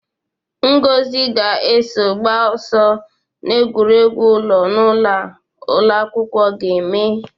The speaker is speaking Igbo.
Ngozi ga-eso gbaa ọsọ n'egwuregwu ụlọ na ụlọ a ụlọ akwụkwọ ga-eme.